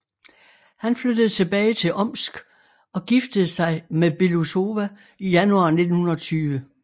Han flyttede tilbage til Omsk og giftede sig med Belousova i januar 1920